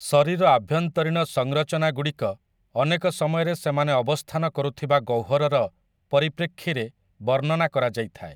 ଶରୀର ଆଭ୍ୟନ୍ତରୀଣ ସଂରଚନାଗୁଡ଼ିକ ଅନେକ ସମୟରେ ସେମାନେ ଅବସ୍ଥାନ କରୁଥିବା ଗହ୍ୱରର ପରିପ୍ରେକ୍ଷୀରେ ବର୍ଣ୍ଣନା କରାଯାଇଥାଏ ।